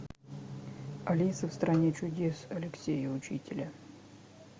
алиса в стране чудес алексея учителя